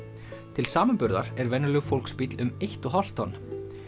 til samanburðar er venjulegur fólksbíll um eitt og hálft tonn